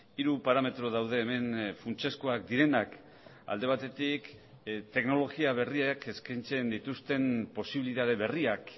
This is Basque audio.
hiru parametro daude hemen funtsezkoak direnak alde batetik teknologia berriek eskaintzen dituzten posibilitate berriak